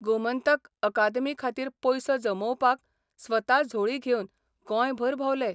गोमंतक अकादमी खातीर पयसो जमोवपाक स्वता झोळी घेवन गोंयभर भोंवले.